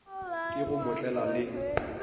ke go mo tlela le